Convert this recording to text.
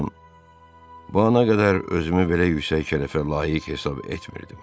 Xanım, bu ana qədər özümü belə yüksək şərəfə layiq hesab etmirdim.